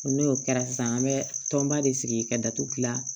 N'o kɛra sisan an bɛ tɔnba de sigi ka datugulan